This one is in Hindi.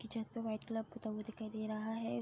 उसकी छत पे वाइट कलर पुता हुआ दिखाई दे रहा है।